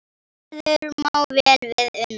Gerður má vel við una.